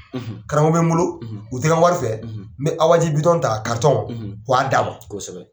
Karamɔgɔ bɛ n bolo, u tɛ n ka wari fɛ, n bɛ Awa ji ta ka wa dama, kosɛbɛ .